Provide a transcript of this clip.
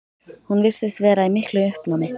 Hún virtist vera í miklu uppnámi.